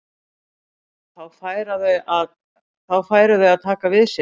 Þá færu þau að taka við sér.